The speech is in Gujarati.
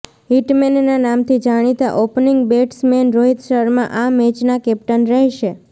હિટમૅનના નામથી જાણીતા ઑપનિંગ બૅટ્સમૅન રોહિત શર્મા આ મૅચના કૅપ્ટન રહેશે